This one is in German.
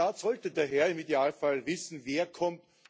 Der Staat sollte daher im Idealfall wissen, wer kommt.